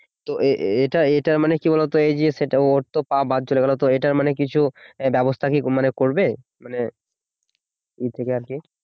তো এটা এটা মানে কি বলতো এই যে সেটা ওর তো পা বাদ চলে গেল তো এটার মানে কিছু ব্যবস্থা কি মানে করবে? মানে ইয়ে থেকে আর কি